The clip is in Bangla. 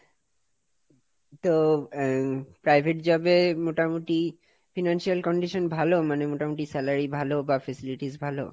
তো, আহ Private job এ মোটামুটি Financial condition ভালো, মানে মোটামুটি salary ভালো বা Facilities ভালো?